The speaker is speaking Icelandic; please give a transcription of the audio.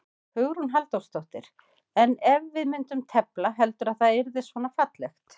Hugrún Halldórsdóttir: En ef við myndum tefla, heldurðu að þetta yrði svona fallegt?